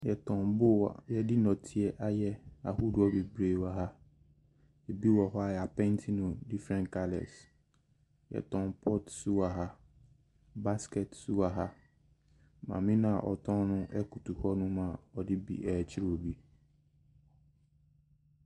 Wɔtɔn bowl a wɔde nnɔteɛ ayɛ ahodoɔ bebree wɔ ha. Bi wɔ hɔ a wɔapenti no differen colours. Wɔtɔn pot nso wɔ ha. Basket nso wɔ ha. Maame no a ɔtɔn no koto hɔnom a ɔde bi rekyerɛ obi.